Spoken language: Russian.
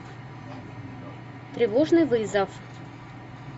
тревожный вызов